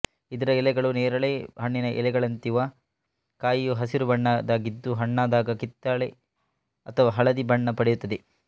ಇದರ ಎಲೆಗಳು ನೇರಳೆ ಹಣ್ಣಿನ ಎಲೆಗಳಂತಿವ ಕಾಯಿಯು ಹಸಿರು ಬಣ್ಣದಾಗಿದ್ದು ಹಣ್ಣಾದಾಗ ಕಿತ್ತಲೆ ಅಥವಾ ಹಳದಿ ಬಣ್ಣ ಪಡೆಯುತ್ತದೆ